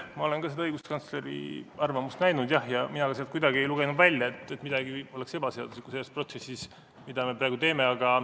Ma olen seda õiguskantsleri arvamust näinud, jah, aga mina ei lugenud sealt kuidagi välja, et midagi oleks ebaseaduslikku selles protsessis, mida me praegu teeme.